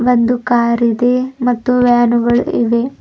ಒಂದು ಕಾರ್ ಇದೆ ಮತ್ತು ವ್ಯಾನುಗಳು ಇವೆ.